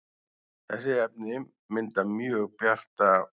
þessi efni mynda mjög bjarta